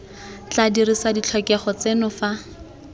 tla dirisa ditlhokego tseno fa